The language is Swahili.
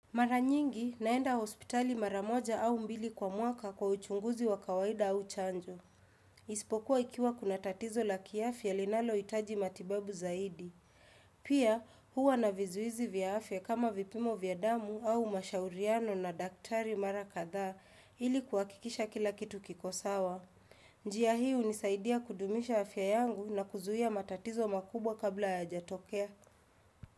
Mara nyingi naenda hospitali mara moja au mbili kwa mwaka kwa uchunguzi wa kawaida au chanjo. Ispokuwa ikiwa kuna tatizo la kiafya linaloitaji matibabu zaidi. Pia huwa na vizuizi vya afya kama vipimo vya damu au mashauriano na daktari mara kadha ili kuakikisha kila kitu kiko sawa. Njia hii unisaidia kudumisha afya yangu na kuzuia matatizo makubwa kabla yajatokea.